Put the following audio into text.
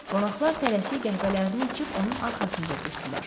Qonaqlar tələsik qəhvələrini içib onun arxasınca getdilər.